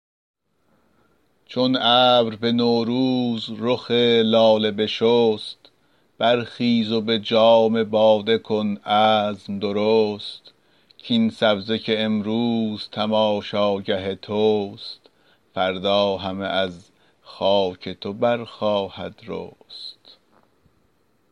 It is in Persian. چون ابر به نوروز رخ لاله بشست برخیز و به جام باده کن عزم درست کاین سبزه که امروز تماشاگه توست فردا همه از خاک تو برخواهد رست